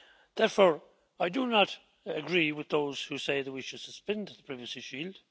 Therefore, I do not agree with those who say that we should suspend the Privacy Shield.